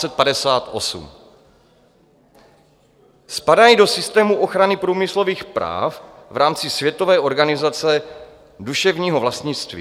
Spadají do systému ochrany průmyslových práv v rámci Světové organizace duševního vlastnictví.